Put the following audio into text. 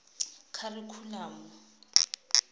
kharikhulamo